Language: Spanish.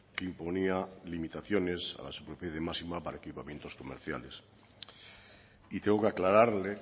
que imponía limitaciones a la superficie máxima para equipamientos comerciales y tengo que aclararle